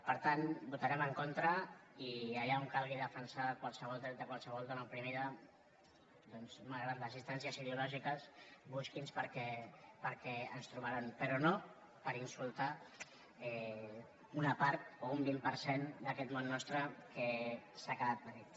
per tant hi votarem en contra i allà on calgui defensar qualsevol dret de qualsevol dona oprimida doncs malgrat les distàncies ideològiques busquin nos perquè ens hi trobaran però no per insultar una part o un vint per cent d’aquest món nostre que s’ha quedat petit